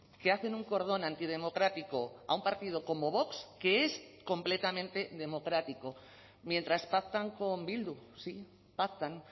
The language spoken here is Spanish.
que hacen un cordón antidemocrático a un partido como vox que es completamente democrático mientras pactan con bildu sí pactan